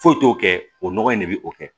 Foyi t'o kɛ o nɔgɔ in de bɛ o kɛ